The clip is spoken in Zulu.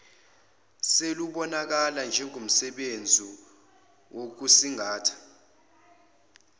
selubonakala njengomsebenzi wokusingatha